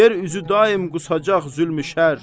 yer üzü daim qusacaq zülmü şər.